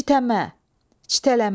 Çitəmə, çitələmək.